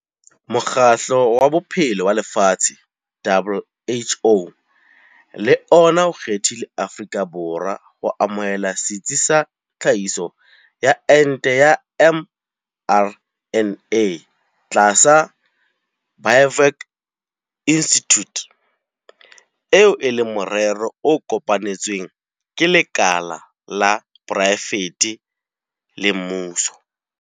Mokgatlo wa Bophelo wa Lefatshe, WHO, le ona o kgethile Afrika Borwa ho amohela setsi sa tlhahiso ya ente ya mRNA tlasa Biovac Institute, eo e leng morero o kopanetsweng ke lekala la poraefete le mmuso.